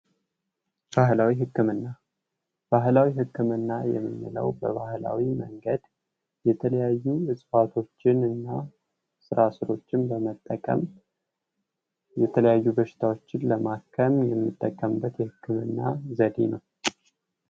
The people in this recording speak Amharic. ባህላዊ ህክምና ባህላዊ ህክምና የምንለው በባህላዊ መንገድ የተለያዩ እጽዋቶችን ስራ ስሮችን በመጠቀም የተለያዩ በሽታዎችን ለማከም የምንጠቀምበት የህክምና ዘዴ ነው።